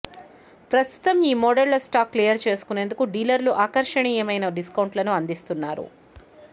ప్రస్తుతం ఈ మోడళ్ల స్టాక్ క్లియర్ చేసుకునేందుకు డీలర్లు ఆకర్షనీయమైన డిస్కౌంట్లను అందిస్తున్నారు